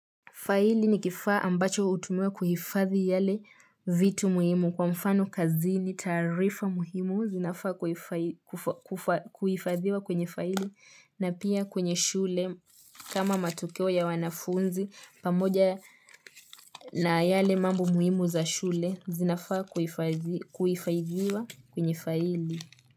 Faili ni kifaa ambacho hutumiwa kuhifadhi yale vitu muhimu kwa mfano kazini taarifa muhimu zinafaa kuhifadhiwa kwenye faili na pia kwenye shule kama matokeo ya wanafunzi pamoja na yale mambo muhimu za shule zinafaa kuhifadhiwa kwenye faili.